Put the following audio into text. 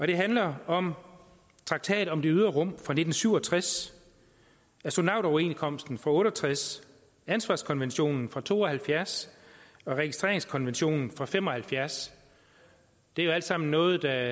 det handler om traktat om det ydre rum fra nitten syv og tres astronautoverenskomsten fra nitten otte og tres ansvarskonventionen fra nitten to og halvfjerds og registreringskonventionen fra nitten fem og halvfjerds det er jo alt sammen noget der